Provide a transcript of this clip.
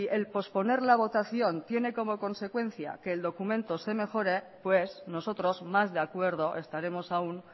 el posponer la votación tiene como consecuencia que el documento se mejore pues nosotros más de acuerdo estaremos aún